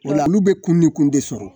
O la, olu bɛ kun ni kun de sɔrɔ!